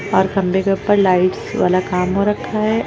और खंभे के ऊपर लाइट्स वाला काम हो रखा है।